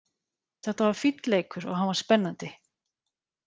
Þetta var fínn leikur og hann var spennandi.